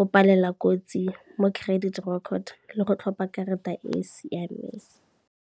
o palela kotsi mo credit record le go tlhopha karata e e siameng.